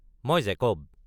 মই জেকব।